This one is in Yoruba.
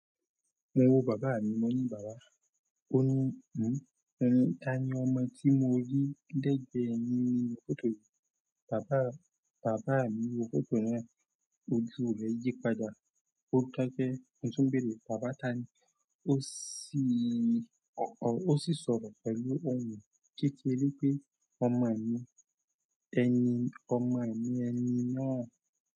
Mo wo bàbá mi, mo ní, "Bàbá." Ó ní, "Ǹ ó ni, ta ni ọmọ tí mo rí lẹ́gbẹ̀ẹ́ ẹ ní fọ́tò yìí?" Bàbá, bàbá mi wo fọ́tò náà ojú rẹ̀ yí padà. Ó kẹ́kẹ́, ẹ tún bèrè. Bàbá ta ni ó sì, ó sì sọ̀rọ̀ pẹ̀lú ohùn kékeré pé, "Ọmọ ẹ̀ ẹni, ọmọ ẹ ni ẹni náà."